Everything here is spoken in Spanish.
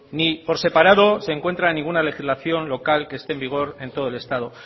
ni por separado se encuentra en ninguna legislación local que esté en vigor en todo el estado